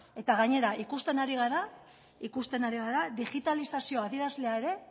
eta gainera ikusten ari gara ikusten ari gara digitalizazio adierazlea ere